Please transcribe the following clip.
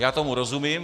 Já tomu rozumím.